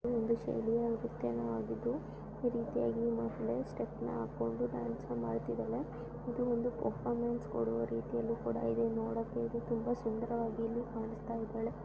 Steps ಹಾಕೊಂಡು dance ಮಾಡ್ತಾ ಇದ್ದಾಳೆ ಪರಫಮೆನಸ್ ಕೊಡುವ ರೀತಿಯಲ್ಲಿ ತುಂಬಾ ಸುಂದರವಾಗಿ ಕಾಣುತ್ತ ಇದ್ದಾಳೆ.